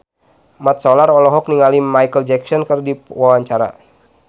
Mat Solar olohok ningali Micheal Jackson keur diwawancara